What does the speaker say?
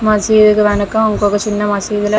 మసీదు వెనక ఇంకొక చిన్న మసీదు లో --